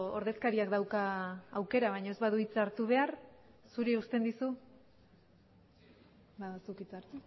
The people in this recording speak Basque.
ordezkariak dauka aukera baina ez badu hitza hartu behar zuri uzten dizu ba zuk hitza hartu